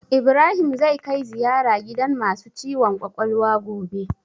Ibrahim zai kai ziyara gidan masu ciwon kwakwalwa gobe